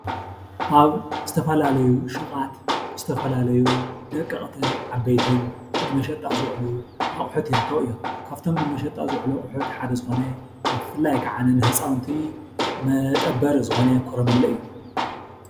ኣብ ዝተፈላለዩ ሹቓት ዝተፈላለዩ ደቐቕትን ዓበይትን ንመሸጣ ዝውዕሉ ኣቑሑት ይርከቡ እዮም፡፡ ካብቶም ንመሸጣ ዝውዕሉ ኣቑሑት ሓደ ዝኾነ ብፍላይ ከዓኒ ንህፃውንቲ መጠበሪ ዝኾነ ኮረመለ እዩ፡፡